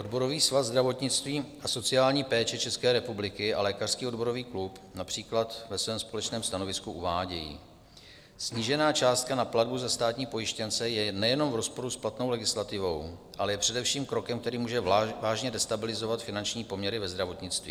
Odborový svaz zdravotnictví a sociální péče České republiky a Lékařský odborový klub například ve svém společném stanovisku uvádějí: Snížená částka na platbu za státní pojištěnce je nejenom v rozporu s platnou legislativou, ale je především krokem, který může vážně destabilizovat finanční poměry ve zdravotnictví.